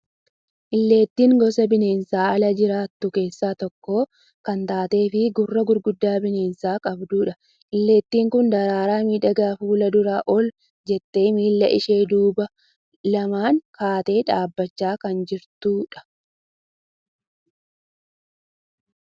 Illeettiin gosa bineensa ala jiraattu keessaa tokko kan taatee fi gurra gurguddaa bineensa qabdudhq. Illeettiin kun daraaraa miidhagaa fuula dura ol jettee miilla ishee duubaa lamaan kaatee dhaabachaa kan jirtudha.